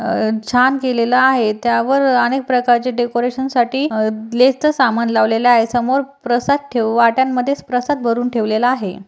अ छान केलेला आहे त्यावर अनेक प्रकारचे डेकोरेशनसाठी अ लेसचा सामान लावलेला आहे समोर प्रसाद ठेव वाट्यांमध्येच प्रसाद भरुन ठेवलेला आहे.